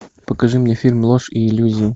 покажи мне фильм ложь и иллюзии